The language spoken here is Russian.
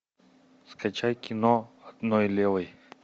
скачай кино одной левой